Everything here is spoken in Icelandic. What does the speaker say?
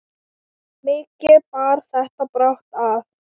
Mikið bar þetta brátt að.